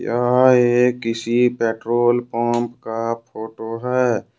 हां यह किसी पेट्रोल पंप का फोटो है।